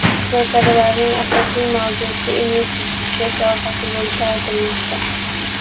Muzokaralarning asosiy mavzusi investitsiya sohasi bo‘lishi aytilmoqda.